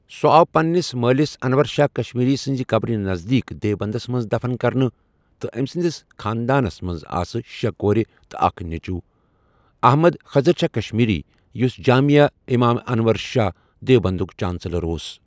ُسہ آو پنٛنس مٲلس انور شاہ کشمیری سنٛز قبر نزدیٖکھ دیوبندس مَنٛز دَفَن کرنہٕ تہٕ أمس سٕنٛدِس خانٛدارنس مَنٛز ٲس شٚے کور تہٕ اَکھ نیٚچو احمد کھیزر شاہ کشمیری یُس جامعیا امام انور شاہ دیوبندُک چانٛسٕلر اوس